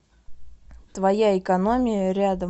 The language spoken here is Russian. твоя экономия рядом